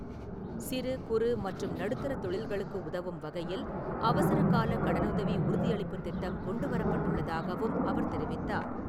சிறு குறு மற்றும் நடுத்தர தொழில்களுக்கு உதவும் வகையில் அவசரக் கால கடனுதவி உறுதியளிப்புத் திட்டம் கொண்டு வரப்பட்டுள்ளதாகவும் அவர் தெரிவித்தார்.